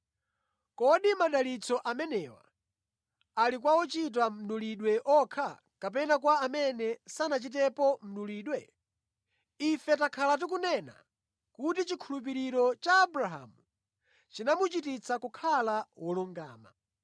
Kodi madalitso amenewa ali kwa ochita mdulidwe okha kapena kwa amene sanachitepo mdulidwe? Ife takhala tikunena kuti chikhulupiriro cha Abrahamu chinamuchititsa kukhala wolungama.